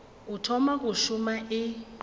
o thoma go šoma e